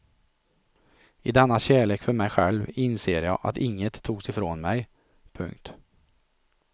I denna kärlek för mig själv inser jag att inget togs ifrån mig. punkt